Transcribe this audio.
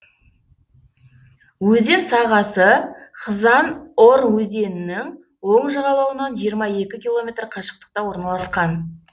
өзен сағасы хзан ор өзенінің оң жағалауынан жиырма екі километр қашықтықта орналасқан